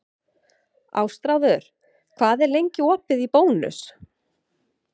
Ástráður, hvað er lengi opið í Bónus?